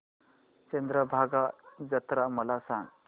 चंद्रभागा जत्रा मला सांग